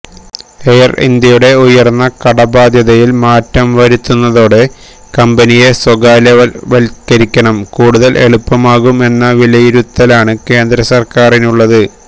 air ഇന്ത്യയുടെ ഉയര്ന്ന കടബാധ്യതയില് മാറ്റം വരുത്തുന്നതോടെ കമ്പനിയെ സ്വകാര്യവല്ക്കരണം കൂടുതല് എളുപ്പമാകും എന്ന വിലയിരുത്തലാണ് കേന്ദ്ര സര്ക്കാരിനുളളത്